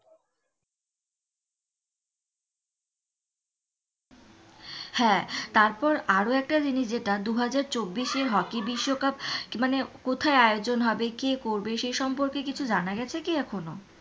হ্যাঁ তারপর আরও একটা জিনিস যেটা দুহাজার চব্বিশে হকি বিশ্বকাপ মানে কোথায় আয়োজন হবে কি করবে সেই সম্পর্কে কিছু জানা গেছে কি এখনো?